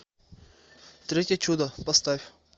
третье чудо поставь